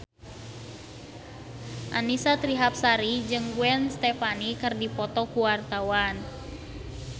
Annisa Trihapsari jeung Gwen Stefani keur dipoto ku wartawan